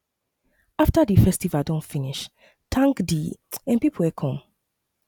after di festival don finish thank di um pipo wey come